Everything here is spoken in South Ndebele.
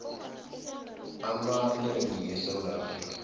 amanengi esewula afrika